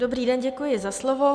Dobrý den, děkuji za slovo.